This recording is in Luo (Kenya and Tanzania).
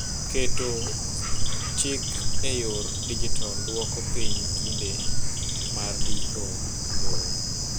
Keto cik e yor dijital dwoko piny kinde mar ndiko lowo.